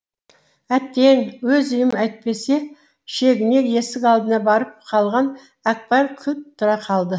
әттең өз үйім әйтпесе шегіне есік алдына барып қалған әкпар кілт тұра қалды